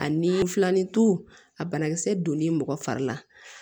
Ani filanintu a banakisɛ donnen mɔgɔ fari la